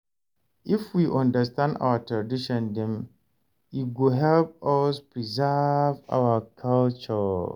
If we understand our tradition dem, e go help us preserve our culture.